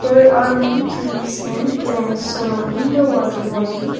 there are many trees and plants surrounding the water body.